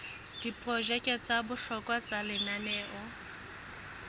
diprojeke tsa bohlokwa tsa lenaneo